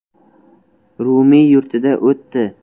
Rumiy yurtida o‘tdi.